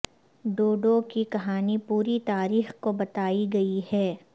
ڈوڈو کی کہانی پوری تاریخ کو بتائی گئی ہے